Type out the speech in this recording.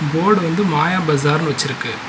போடு வந்து மாயா பஜார்னு வச்சிருக்கு.